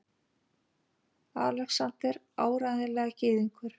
ALEXANDER: Áreiðanlega gyðingur!